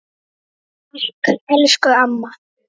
Þegar ég sagði